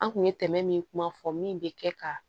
An kun ye tɛmɛ min kuma fɔ min bɛ kɛ ka